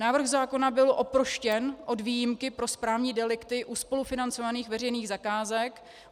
Návrh zákona byl oproštěn od výjimky pro správní delikty u spolufinancovaných veřejných zakázek.